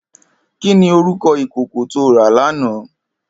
Kini órúkò ikókó tó rá làná?